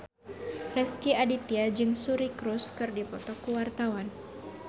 Rezky Aditya jeung Suri Cruise keur dipoto ku wartawan